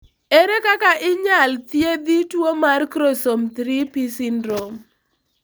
ere kaka inyal thiedhi tuo mar chromosome 3p syndrome